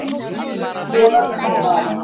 Verkfall boðað um mánaðamót